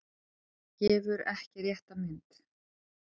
Gefur ekki rétta mynd